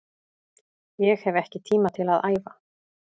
Ég hef ekki tíma til að æfa